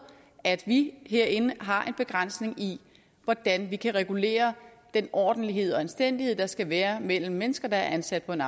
at vi herinde har en begrænsning i hvordan vi kan regulere den ordentlighed og anstændighed der skal være mellem mennesker der er ansat på en